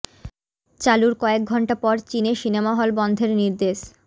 চালুর কয়েক ঘণ্টা পর চীনে সিনেমা হল বন্ধের নির্দেশ